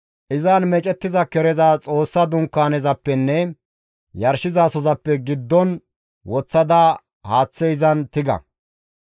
Izan meecettiza kereza Xoossa Dunkaanezappenne yarshizasozappe giddon woththada haaththe izan tiga.